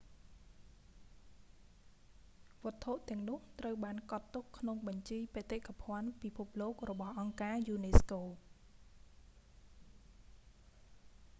វត្ថុទាំងនោះត្រូវបានកត់ទុកក្នុងបញ្ជីបេតិកភណ្ឌពិភពលោករបស់អង្គការយូណេស្កូ